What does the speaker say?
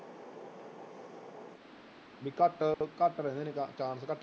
ਵੀ ਘੱਟ ਘੱਟ ਰਹਿੰਦੇ ਨੇ ਚਾ chance ਘੱਟ